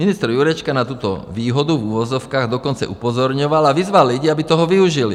Ministr Jurečka na tuto výhodu, v uvozovkách, dokonce upozorňoval a vyzval lidi, aby toho využili.